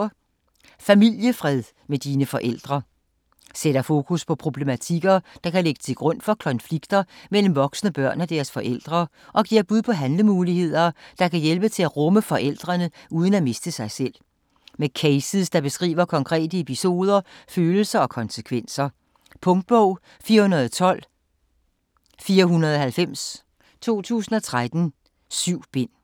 Familiefred med dine forældre Sætter fokus på problematikker, der kan ligge til grund for konflikter mellem voksne børn og deres forældre, og giver bud på handlemuligheder, der kan hjælpe til at rumme forældrene uden at miste sig selv. Med cases der beskriver konkrete episoder, følelser og konsekvenser. Punktbog 412490 2013. 7 bind.